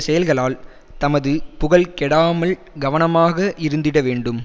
செயல்களால் தமது புகழ் கெடாமல் கவனமாக இருந்திட வேண்டும்